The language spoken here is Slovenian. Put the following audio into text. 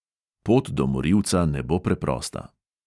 Pot do morilca ne bo preprosta.